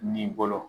N'i bolo